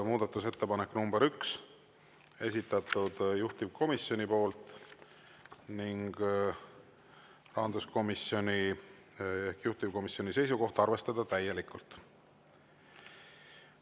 Muudatusettepanek nr 1, esitanud juhtivkomisjon ning rahanduskomisjoni ehk juhtivkomisjoni seisukoht on arvestada täielikult.